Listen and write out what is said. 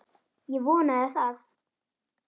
Ég vonaði það.